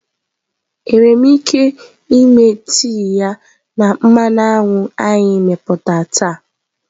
Enwere m ike me tee ya na mmanụ anyụ anyị meputá taa?